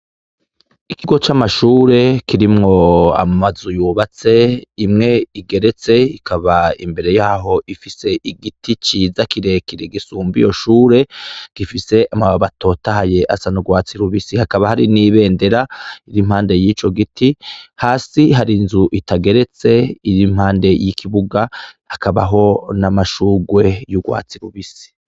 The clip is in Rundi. Ikigo camashure kirimwo amazu yubatse imwe igeretse ikaba imbere yaho ifise igiti ciza kirekire gisumba iyo shure gifise amababi atotahaye asa nurwatsi rubisi hakaba hari nibendera riri impande yico giti hasi hakaba hari inzu itageretse iri impande yikibuga hakabaho n'amashurwe yurwatsi rubisi.